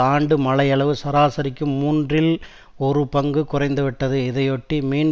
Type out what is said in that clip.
ஆண்டு மழை அளவு சராசரிக்கும் மூன்றில் ஒரு பங்கு குறைந்துவிட்டது இதையொட்டி மீன்